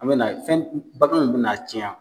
An bɛ na fɛn baganw bɛna na cɛn yan.